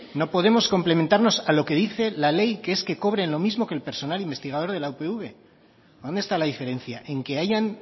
no podemos complementarnos a lo que dice la ley que es que cobren lo mismo que el personal investigador de la upv dónde está la diferencia en que hayan